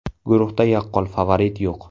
Guruhda yaqqol favorit yo‘q.